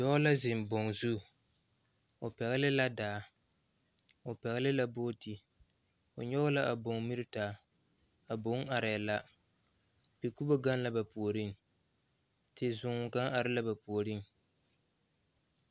Dɔɔ la zeŋ boŋ zu o pɛgele la daa o pɛgele la booti o nyɔge la a boŋ miri taa a boŋ arɛɛ la pikubo gaŋ la ba puoriŋ tesoo kaŋ are la ba puoriŋ